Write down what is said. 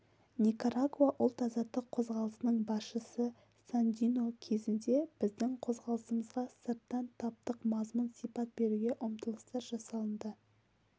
никарагуа ұлт-азаттық қозғалысының басшысы сандино кезінде біздің қозғалысымызға сырттан таптық мазмұн сипат беруге ұмтылыстар жасалынды